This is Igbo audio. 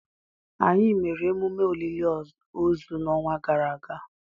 Anyị mere emume olili ozu n' ọnwa gara aga